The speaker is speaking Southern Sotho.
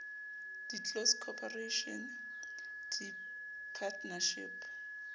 di close corporation di partnership